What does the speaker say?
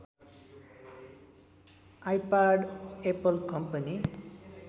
iPad Apple company